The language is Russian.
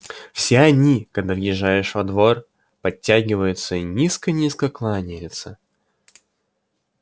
все они когда въезжаешь во двор подтягиваются и низко-низко кланяются